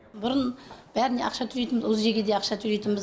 бұрын бәріне ақша төлейтін удз ге де ақша төлейтінбіз